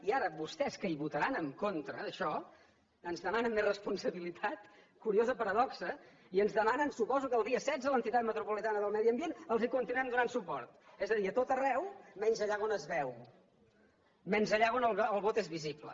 i ara vostès que hi votaran en contra d’això ens demanen més responsabilitat curiosa paradoxa i ens demanen suposo que el dia setze a l’entitat metropolitana del medi ambient els continuem donant suport és a dir a tot arreu menys allà on es veu menys allà on el vot és visible